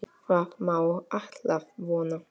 Það má alltaf vona.